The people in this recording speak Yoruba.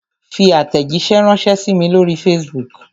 Fi àtẹ̀jíṣẹ́ ránṣẹ sí mí lóri facebook!